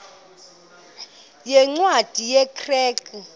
yeencwadi ye kerk